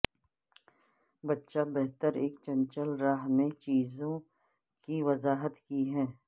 بچہ بہتر ایک چنچل راہ میں چیزوں کی وضاحت کی ہے